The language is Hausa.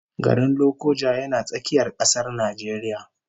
Garin Lokoja yana tsakiyar kasar Najeriya